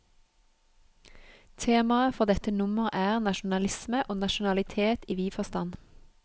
Temaet for dette nummer er, nasjonalisme og nasjonalitet i vid forstand.